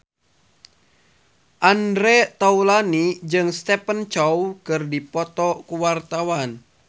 Andre Taulany jeung Stephen Chow keur dipoto ku wartawan